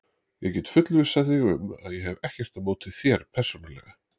Ég get fullvissað þig um að ég hef ekkert á móti þér persónulega.